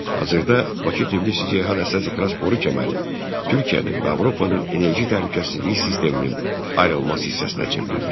Hazırda Bakı-Tbilisi-Ceyhan əsas ixrac boru kəməri Türkiyənin və Avropanın enerji təhlükəsizliyi sisteminin ayrılmaz hissəsinə çevrilmişdir.